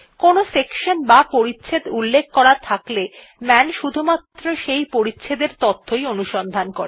কোনো সেকশন বা পরিচ্ছেদ উল্লেখ করা থাকলে মান শুধুমাত্র সেই পরিচ্ছেদ এর তথ্য অনুসন্ধান করে